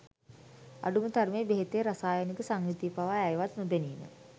අඩුම තරමේ බෙහෙතේ රසායනික සංයුතිය පවා ඇයවත් නොදැනීම.